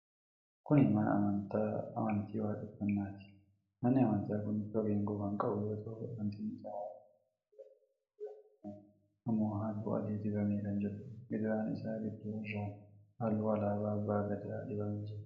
Kun mana amantaa amantii waaqeffannaati. Manni Amantaa kun bifa geengoo kan qabu yoo ta'u, bantiin isaa halluu diimaa dibamee jira. Gidaarri isaa ammoo halluu adii dibamee kan jiruudha. Gidaara isaa gidduu irraan halluun alaabaa Abba Gadaa dibamee jira.